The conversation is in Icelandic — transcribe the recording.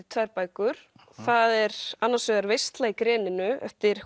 tvær bækur það er annars vegar veisla í greninu eftir